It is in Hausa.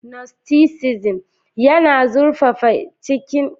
Gnosticism yana zurfafa cikin ilimin sufanci da neman wayewar ruhaniya.